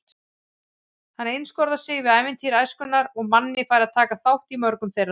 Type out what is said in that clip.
Hann einskorðar sig við ævintýri æskunnar og Manni fær að taka þátt í mörgum þeirra.